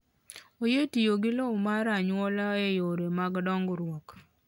Oyie tiyo gi lowo mar anyuola e yore mag dongruok.